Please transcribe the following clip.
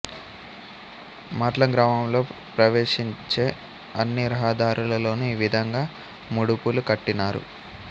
మాట్లం గ్రామంలో ప్రవేశించే అన్ని రహదారులలోనూ ఈ విధంగా ముడుపులు కట్టినారు